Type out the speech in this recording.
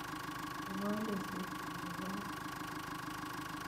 Ibwa lesoit konyo kot yo.